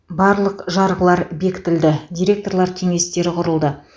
барлық жарғылары бекітілді директорлар кеңестері құрылды